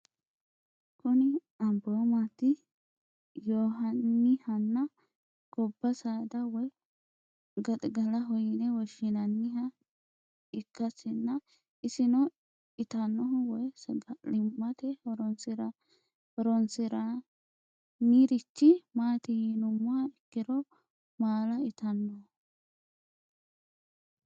Kuni amiboomati yonanihana goba sada woye gaxigalaho yine woshinanniha ikiasina isino itanohu woyi sagalimate horonsiranirich mati yinumoha ikiro maala itanoho?